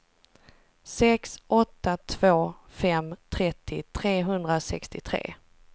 sex åtta två fem trettio trehundrasextiotre